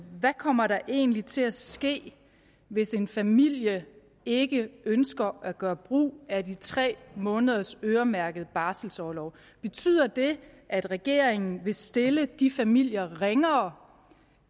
kommer der egentlig til at ske hvis en familie ikke ønsker at gøre brug af de tre måneders øremærkede barselorlov betyder det at regeringen vil stille de familier ringere